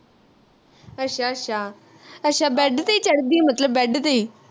ਅੱਛਾ ਅੱਛਾ ਅੱਛਾ bed ਤੇ ਈ ਚੜਦੀ ਮਤਲਬ bed ਤੇ ਈ